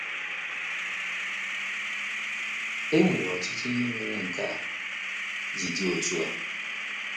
E nwere ọtụtụ ihe mere nke a ji dị otú a.